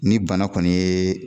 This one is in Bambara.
Ni bana kɔni ye